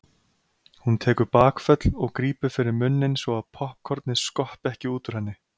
Hún tekur bakföll og grípur fyrir munninn svo að poppkornið skoppi ekki út úr henni.